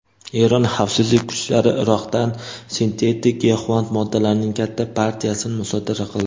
Eron xavfsizlik kuchlari Iroqdan sintetik giyohvand moddalarning katta partiyasini musodara qildi.